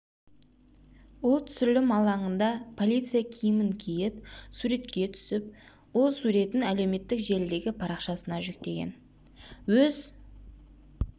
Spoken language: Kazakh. ол түсірілім алаңында полиция киімін киіп суретке түсіп ол суретін әлеуметтік желідегі парақшасына жүктеген өз